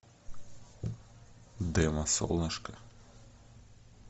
демо солнышко